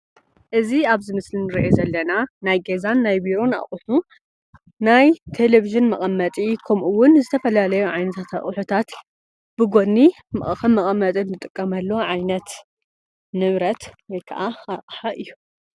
እዚ ኣብዚ ምስሊ ንሪኦ ዘለና ናይ ገዛን ናይ ቢሮን ኣቕሑ ናይ ቴሌቪዥን መቐመጢ ከምኡ ውን ዝተፈላለዩ ዓይነታት ኣቕሑታት ብጎኒ ከም መቐመጢ እንጥቀመሉ ዓይነት ንብረት ወይከኣ ኣቕሓ እዩ፡፡